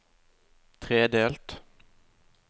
tredelt